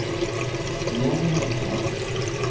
Johnny Häggström